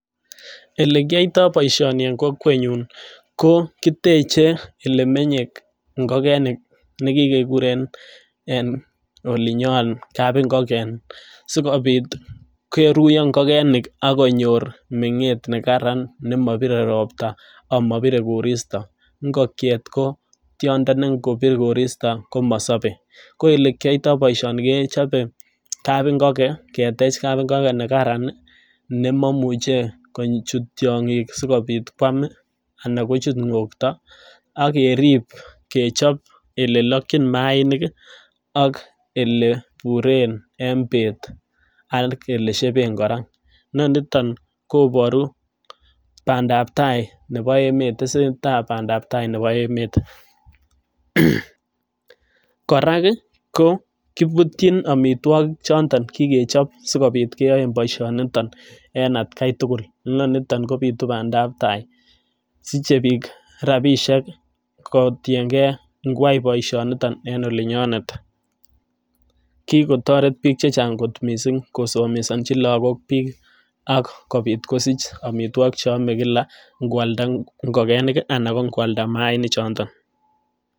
Ele kiyoito boisioni en kokwenyun ko kiteche ole menye ngokenik ne kigekuren en olinyon kapingoken sikobit koruyo ngokenik ak konyor meng'et ne karan ne mobire ropta ama bire koristo. Ngokiet ko tyondo ne ngobir koristo komosobe. Ko ele kiyoito boisioni kechope kapingoken ketech kapingokenne karan ne moimuche kochut tyong'ik sikobit kwam anan kochut ng'okto ak kerib kechob ele lokin maainik ak ele iburen en beet ak ele sheben kora. Inoniton koboru bandap tai nebo emet, tesentai bandap tai nebo emet. Kora ko kibutyin amitwogik choto kigechop sigobit keyaen bosionito en ataki tugul. Inonito kobitu bandap tai siche biik rabishek kotiyen gei ngoyai boisionito en oli nyonet. Kigotoret biik che chang' kot mising' kosomesanchi lagok biik ak kobit kosich amitwogik che ame kila ngo alda ingokenik anan ngo alda maainik chondon.